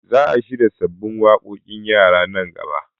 Za a shirya sabbin waƙoƙin yara nan gaba